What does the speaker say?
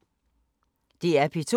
DR P2